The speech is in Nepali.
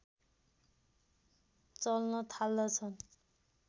चल्न थाल्दछन्